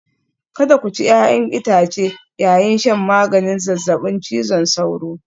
Kada ku ci 'ya'yan itace yayin shan maganin zazzabin cizon sauro